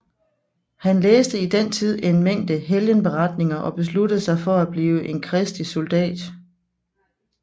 Han læste i den tid en mængde helgenberetninger og besluttede sig for at blive en Kristi soldat